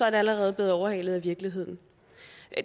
allerede blevet overhalet af virkeligheden